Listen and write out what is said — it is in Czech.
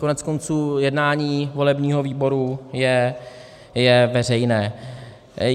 Koneckonců jednání volebního výboru je veřejné.